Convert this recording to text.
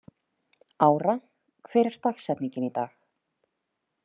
Ára, hver er dagsetningin í dag?